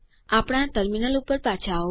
આપણા ટર્મિનલ ઉપર પાછા આવો